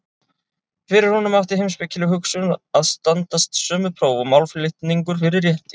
Fyrir honum átti heimspekileg hugsun að standast sömu próf og málflutningur fyrir rétti.